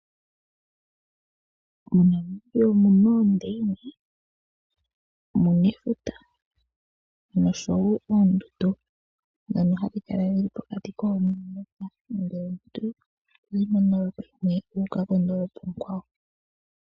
MoNamibia omuna oondeyine omuna efuta noshowo oondundu nosho tuu dhono hadhikala dhili pokati koondolopa nomuntu ohodhi mono ngele wuka koondolopa oonkwawo.